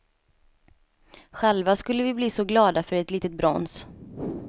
Själva skulle vi bli så glada för ett litet brons.